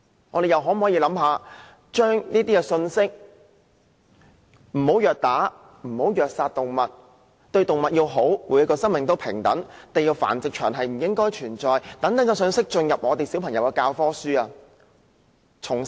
我們又可否考慮把不要虐打、虐殺動物、要好好對待動物、所有生命平等、"地獄繁殖場"不應存在等信息加入小朋友的教科書？